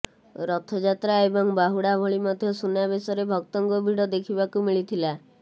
ରଥଯାତ୍ରା ଏବଂ ବାହୁଡା ଭଳି ମଧ୍ୟ ସୁନାବେଶରେ ଭକ୍ତଙ୍କ ଭିଡ ଦେଖିବାକୁ ମିଳିଥିଲା